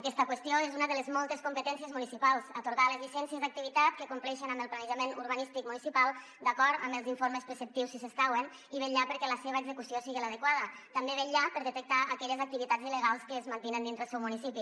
aquesta qüestió és una de les moltes competències municipals atorgar les llicències d’activitat que compleixen amb el planejament urbanístic municipal d’acord amb els informes preceptius si s’escauen i vetllar perquè la seva execució siga l’adequada també vetllar per detectar aquelles activitats il·legals que es mantenen dintre el seu municipi